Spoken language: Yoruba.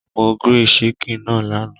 Mo grill chicken náà lánàá.